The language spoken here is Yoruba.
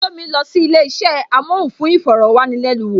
Tomi lọ sí ilé isẹ amohun fún iforowanilenuwo